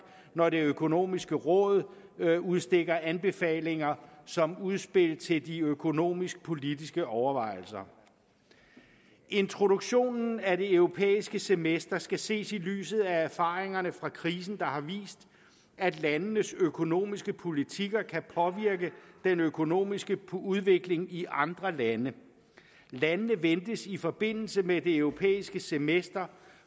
når det økonomiske råd udstikker anbefalinger som udspil til de økonomisk politiske overvejelser introduktionen af det europæiske semester skal ses i lyset af erfaringerne fra krisen der har vist at landenes økonomiske politikker kan påvirke den økonomiske udvikling i andre lande landene ventes i forbindelse med det europæiske semester